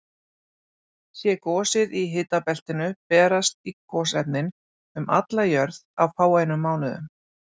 Sé gosið í hitabeltinu berast gosefnin um alla jörð á fáeinum mánuðum.